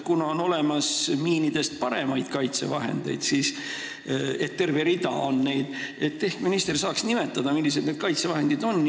Kuna on olemas miinidest paremaid kaitsevahendeid – neid on terve rida –, siis ehk saaks minister nimetada, mis kaitsevahendid need on.